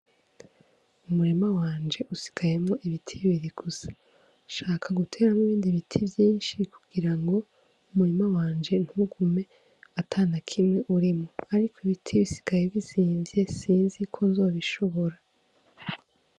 Umurima wanje usigayemwo ibiti bibiri gusa, nshaka guteramwo ibindi biti vyinshi kugira ngo umurima wanje ntugume atanakimwe urimwo, ariko ibiti bisigaye bizimvye sinzi ko nzobishobora.